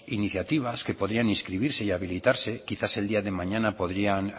iniciativas que podrían inscribirse y habilitarse quizás el día de mañana podrían